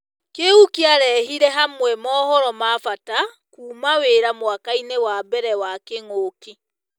Kĩu kĩarehire hamwe mohoro ma-bata kuuma wira mwakainĩ wa mbere wa kĩng'ũki.